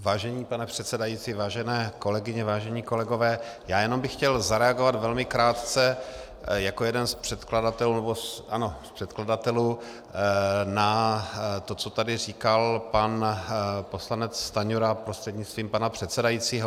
Vážený pane předsedající, vážené kolegyně, vážení kolegové, já jenom bych chtěl zareagovat velmi krátce jako jeden z předkladatelů na to, co tady říkal pan poslanec Stanjura, prostřednictvím pana předsedajícího.